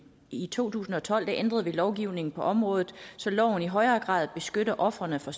i to tusind og tolv ændrede vi lovgivningen på området så loven i højere grad beskytter ofrene for